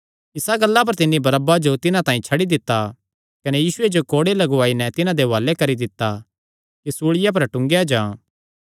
इसा गल्ला पर तिन्नी बरअब्बा जो तिन्हां तांई छड्डी दित्ता कने यीशुये जो कोड़े लगुआई नैं तिन्हां दे हुआलैं करी दित्ता कि सूल़िया पर टूंगेया जां